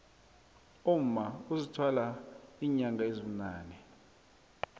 umma uzithwala inyanga ezibunane